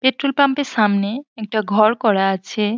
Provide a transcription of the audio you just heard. Petrol pump এর সামনে একটা ঘর করা আছে।